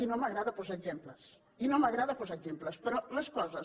i no m’agrada posar exemples i no m’agrada posar exemples però les coses